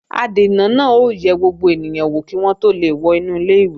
Adènà náà ó yẹ gbogbo ènìyàn wò kí wọ́n tó lè wọ inú ilé-ìwé